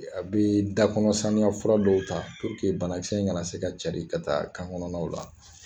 A bɛ dakɔnɔ saniya fura dɔw ta puruke banakisɛ in kana se ka carin ka taa kan kɔnɔnaw la.